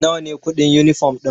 Nawa ne kuɗin yunifom ɗin?